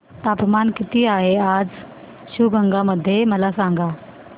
तापमान किती आहे आज शिवगंगा मध्ये मला सांगा